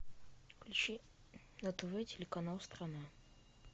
включи на тв телеканал страна